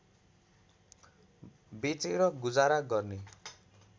बेचेर गुजारा गर्ने